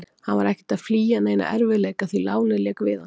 Hann var ekkert að flýja neina erfiðleika, því lánið lék við hann.